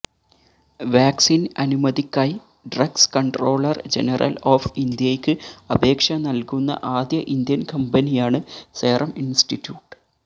vaccine അനുമതിക്കായി drugs controller general of ഇന്ത്യയ്ക്ക് അപേക്ഷ നൽകുന്ന ആദ്യ ഇന്ത്യൻ കമ്പനിയാണ് സെറം ഇൻസ്റ്റിറ്റ്യൂട്ട്